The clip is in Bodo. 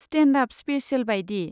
स्टेन्ड आप स्पेसेल बायदि।